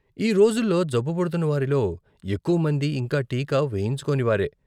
ఈ రోజుల్లో జబ్బు పడుతున్నవారిలో ఎక్కువ మంది ఇంకా టీకా వేయించుకోని వారే.